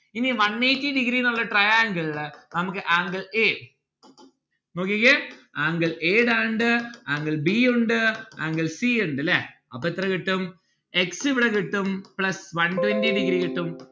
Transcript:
ഇനി one eighty degree ന്നുള്ള triangle ളില് നമ്മുക്ക് angle a നോക്കിക്കേ angle a angle b ഉണ്ട് angle c ഇണ്ട് ല്ലേ അപ്പൊ എത്ര കിട്ടും? x ഇവിടെ കിട്ടും plus one twenty degree കിട്ടും